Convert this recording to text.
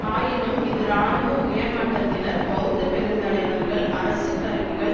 ஆயினும் இது இராணுவ உயர் மட்டத்தினர் பெளத்த பெருந்தலைவர்கள் அரசு கருவிகள்